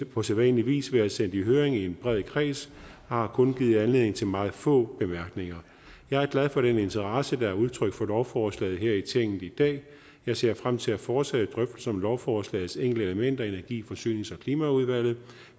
på sædvanlig vis været sendt i høring i en bred kreds og har kun givet anledning til meget få bemærkninger jeg er glad for den interesse der er udtrykt for lovforslaget her i tinget i dag jeg ser frem til at fortsætte drøftelserne om lovforslagets enkelte elementer i energi forsynings og klimaudvalget